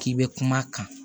K'i bɛ kuma a kan